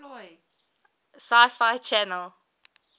sci fi channel